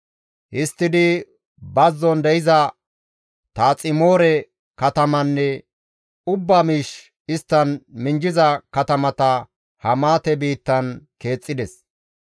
Histtidi bazzon de7iza Taaximoore katamanne ubba miish isttan minjjiza katamata Hamaate biittan keexxides.